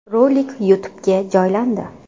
Rolik YouTube’ga joylandi .